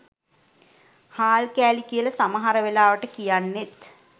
හාල් කෑලි කියල සමහර වෙලාවට කියන්නෙත්